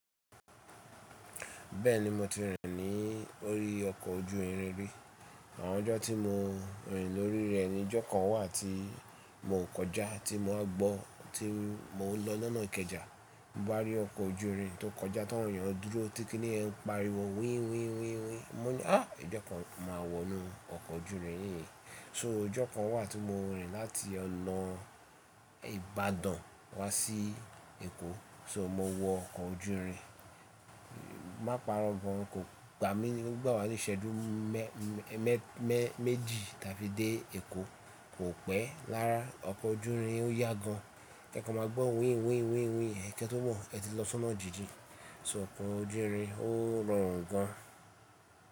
Bẹ́ẹ̀ni mo ti rìn ní orí ọkọ̀ ojú irin rí. Àwọn ọjọ́ tí mo rìn lórí rẹ̀ ni ijọ́ kan wà tí mo kọjá tí mo gbọ́ tí mo lọ lọ́nà Ìkẹjà, mo bá rí ọkọ̀ ojú irin tó kọjá táwọn èèyàn dúró tí kí nìyẹn ń pariwo wíín wíín wíín wíín. Mo ní ọ́ ọjọ́ kan máa wọnú ọkọ̀ ojú irin yìí. So ọjọ́ kan wàtí mo rìn láti ọ̀nà Ìbàdàn wá sí Èkó, so mo wọ ọkọ̀ ojú irin, má parọ́ gon kò gbà mí ní, ó gbà wa ní ìṣẹ́jú mẹ́ mẹ́jì tàbí dé Èkó, kò pẹ́ rára ọkọ̀ ojú irin ó yá gan. E kan máa gbọ́ wíín wíín wíín wíín ẹ̀ kẹ́ tó mọ̀n ẹ ti lọ́ sọ́nà jíjìn. So ọkọ̀ ojú irin ó rọrùn gan.